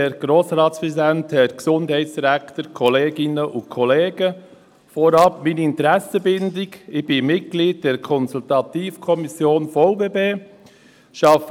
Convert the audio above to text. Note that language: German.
Meine Interessenbindung vorneweg: Ich bin Mitglied der Konsultativkommission des Verbands Berner Pflege- und Betreuungszentren (VBB).